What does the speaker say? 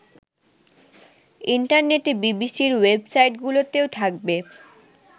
ইন্টারনেটে বিবিসির ওয়েবসাইটগুলিতেও থাকবে